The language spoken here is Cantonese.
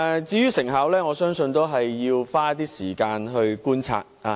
至於成效方面，我相信要花一些時間觀察。